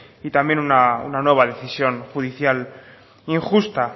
y también una nueva decisión judicial injusta